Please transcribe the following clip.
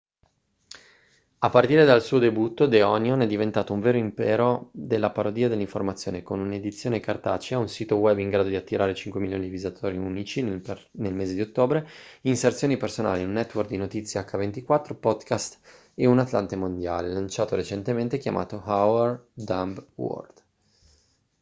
a partire dal suo debutto the onion è diventato un vero impero della parodia dell'informazione con un'edizione cartacea un sito web in grado di attirare 5.000.000 di visitatori unici nel mese di ottobre inserzioni personali un network di notizie h24 podcast e un atlante mondiale lanciato recentemente chiamato our dumb world